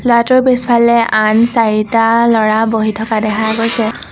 ল'ৰাটোৰ পিছফালে আন চাৰিটা ল'ৰা বহি থকা দেখা গৈছে।